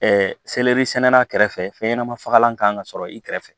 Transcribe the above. sɛnɛla kɛrɛfɛ fɛnɲɛnamafagalan kan ka sɔrɔ i kɛrɛfɛ